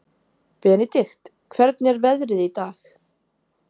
Benidikt, hvernig er veðrið í dag?